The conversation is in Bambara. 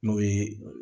N'o ye